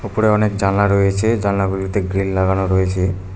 উপরে অনেক জানলা রয়েছে জানলা গুলিতে গ্রিল লাগানো রয়েছে।